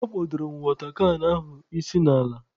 Akpodoro m watọ kan ahụ isi n'ala.